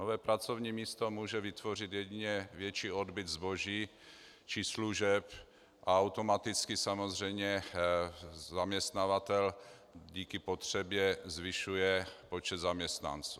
Nové pracovní místo může vytvořit jedině větší odbyt zboží či služeb a automaticky samozřejmě zaměstnavatel díky potřebě zvyšuje počet zaměstnanců.